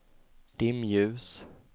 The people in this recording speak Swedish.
dimljus